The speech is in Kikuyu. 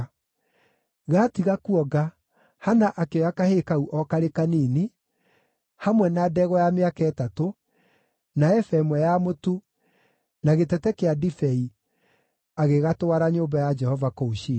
Gaatiga kuonga, Hana akĩoya kahĩĩ kau o karĩ kanini, hamwe na ndegwa ya mĩaka ĩtatũ, na eba ĩmwe ya mũtu, na gĩtete kĩa ndibei agĩgatwara nyũmba ya Jehova kũu Shilo.